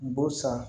Bu san